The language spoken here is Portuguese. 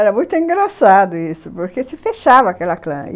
Era muito engraçado isso, porque se fechava aquela clã.